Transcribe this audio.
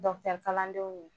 Dɔkitɛri kalandenw ye.